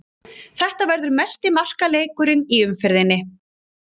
Þetta verður mesti markaleikurinn í umferðinni.